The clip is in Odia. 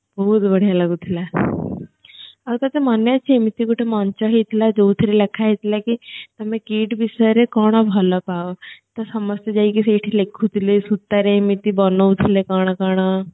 ବହୁତ ବଢିଆ ଲାଗୁଥିଲା ଆଉ ତତେ ମନେ ଅଛି ଏମିତି ଗୋଟେ ମଞ୍ଚ ହେଇଥିଲା ଯୋଉଥିରେ ଲେଖା ହେଇଥିଲା କି ତମେ KIIT ବିଷୟରେ କଣ ଭଲପାଅ ତ ସମସ୍ତେ ଯାଇକି ସେଇଠି ଲେଖୁଥିଲେ ସୂତାରେ ଏମିତି ବନଉଥିଲେ କଣ କଣ